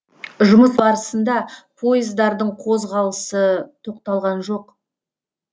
жұмыс барысында пойыздардың қозғалысы тоқталған жоқ